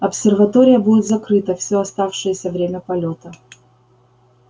обсерватория будет закрыта всё оставшееся время полёта